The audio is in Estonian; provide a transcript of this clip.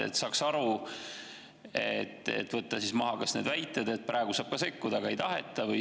Siis saaks aru ja ehk võtta maha need väited, et ka praegu saab sekkuda, aga ei taheta.